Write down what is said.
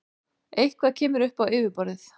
Eitthvað kemur upp á yfirborðið